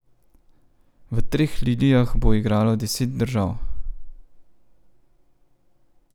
V Treh lilijah bo igralo deset držav.